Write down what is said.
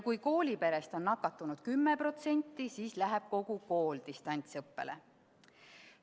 Kui kooliperest on nakatunud 10%, siis läheb distantsõppele kogu kool.